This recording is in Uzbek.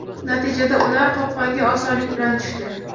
Natijada, ular qopqonga osonlik bilan tushdi.